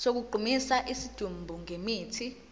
sokugqumisa isidumbu ngemithi